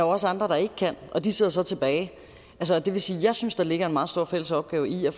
også andre der ikke kan og de sidder så tilbage det vil sige at jeg synes at der ligger en meget stor fælles opgave i at